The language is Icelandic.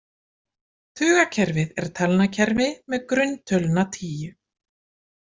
Tugakerfið er talnakerfi með grunntöluna tíu.